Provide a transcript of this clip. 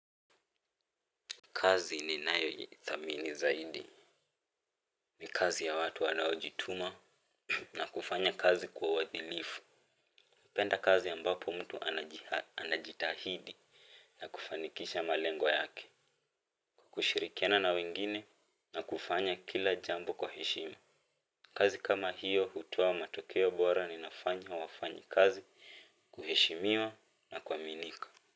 Kazi ninayo ninayoithamini zaidi. Ni kazi ya watu wanaojituma na kufanya kazi kwa uadilifu. Napenda kazi ambapo mtu anajitahidi na kufanikisha malengo yake. Kwa kushirikiana na wengine na kufanya kila jambo kwa heshima. Kazi kama hiyo hutoa matokeo bora na inafanya wafanyikazi kuheshimiwa na kuaminika.